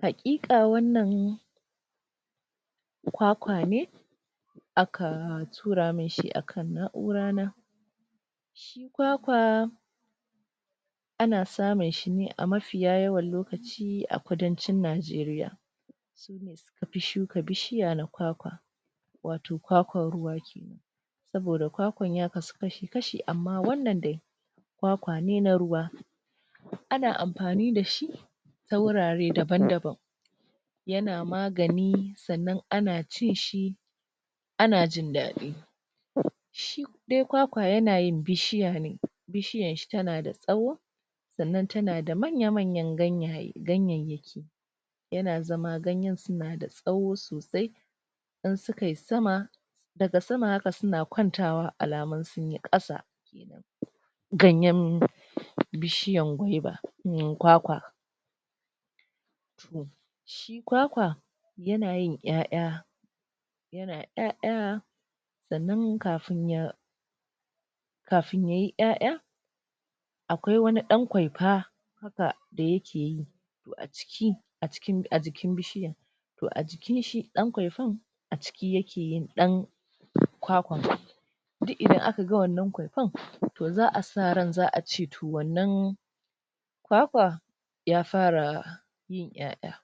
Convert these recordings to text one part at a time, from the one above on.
hakika wannan kwa kwa ne aka tura mun shi a kan nakura na shi kwa kwa ana samun shi ne a mafiya yawan lokaci a kudan cin najeria sune suka fi shuka wato kwa kwan ruwa kenan saboda kwa kwan ya kashi kashi amma wannan dai kwa kwa ne na ruwa ana anfani da shi ta wurare daban daban yana magani sannan ana cin shi ana jin dadi shi dai kwa kwa yana yin bishiya ne bishiyan shi tanada saho sannan tana da manyan ganyayaki yana zama ganyeen suna da soho sosai idan suka yi sama daga sama haka suna kwantawa alamin sun yi kasa ganyen bishiyan gwaiva mmm kwa kwa toh shi kwa kwa yana yin ya'ya sannan kafin ya kafin ya yi ya'yan akwai wani dan kwaifa haka da yakeyi toh a jikin bishiyan t to a jikin shi dan kwaifan a ciki ya ke yin dan kwa kwan duk idan aka ga wannan kwaifan toh za a sa ran za a ce toh wannan kwa kwa ya fara yin ya'ya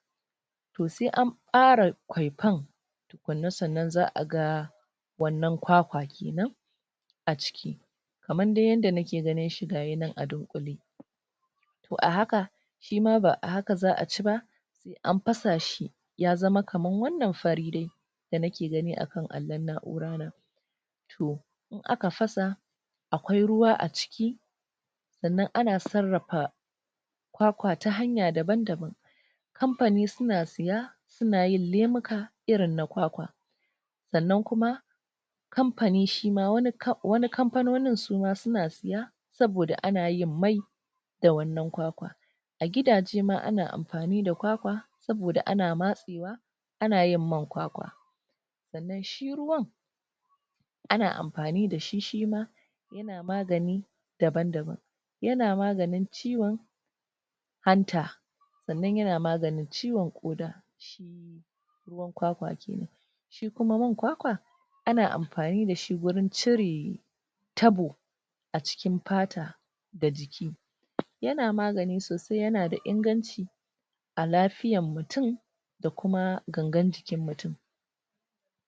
toh sai an bare kwaifan tukun na za a ga wannan kwa kwa kenan a ciki kaman dai yanda na ke ganin shi gashi a dunkule toh a haka shi ma ba a haka za a ci ba sai an fasa shi ya zama kaman wannan fari dai da na ke gani a kan allon nakura na toh in a ka fasa a kwai ruwa a ciki sannan ana sarrafa kwa kwa ta hanya daban daban kamfani su na ciya suna lamuka irin na kwa kwa sannan kuma kamfani shima wani kamfanonin suma suna ciya saboda ana yin mai da wannan kwa kwa a gida je ma ana amfani da kwa kwa saboda ana masewa ana yin man kwa kwa sannan shi ruwan ana amfani ni da shi shima yana magani daban daban yana maganin ciyon hanta sannan ya na maganin ciyon koda shi ruwan kwa kwa kenan shi kuma man kwa kwa ana amfani da shi wujen cire tabo a cikin fata da jiki yana magani sosai yana da inganci a lafiyan mutum da kuma gan gan jikin mutum